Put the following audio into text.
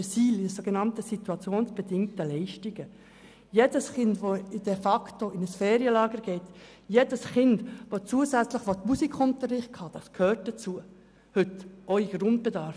Es gehört heute zum Grundbedarf, dass jedes Kind an einem Ferienlager teilnehmen oder zusätzlichen Musikunterricht besuchen kann.